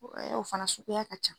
O ɛ ye o fana suguya ka ca.